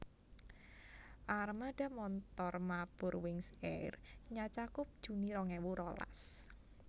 Armada montor mabur Wings Air nyacakup Juni rong ewu rolas